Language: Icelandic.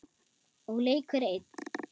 Og leikur einn.